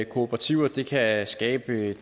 kooperativer det kan skabe et